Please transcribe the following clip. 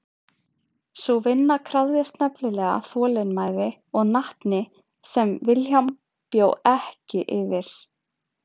Sú vinna krafðist nefnilega þolinmæði og natni sem William bjó ekki yfir.